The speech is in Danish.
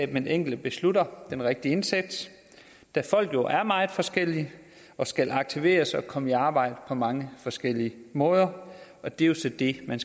den enkelte beslutter den rigtige indsats da folk jo er meget forskellige og skal aktiveres og komme i arbejde på mange forskellige måder og det er jo så det man